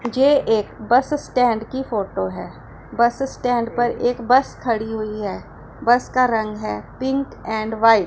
मुझे एक bus stand की फोटो है बस स्टैंड पर एक बस खड़ी हुई है बस का रंग है पिंक एंड व्हाइट ।